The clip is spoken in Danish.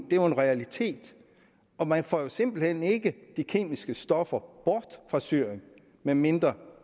jo en realitet man får simpelt hen ikke de kemiske stoffer bort fra syrien medmindre